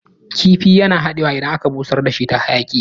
Kifi yana dadewa idan aka busar dashi ta hayaƙi